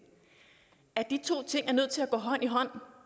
at de to ting er nødt til at gå hånd i hånd